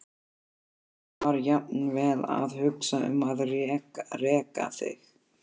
Já, ég var jafnvel að hugsa um að reka þig.